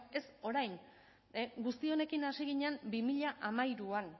ez orain guzti honekin hasi ginen bi mila hamairuan